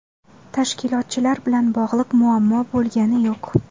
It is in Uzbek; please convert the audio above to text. Tashkilotchilar bilan bog‘liq muammo bo‘lgani yo‘q.